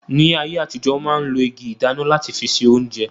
Ní ayé àtijọ́, wọ́n ma ń lo igi ìdáná láti fi se oúnjẹ